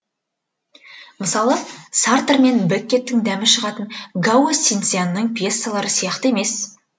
мысалы сартр мен беккеттің дәмі шығатын гао синцзянның пьессалары сияқты емес